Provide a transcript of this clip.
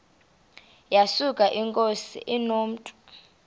yesuka inkosi inomntu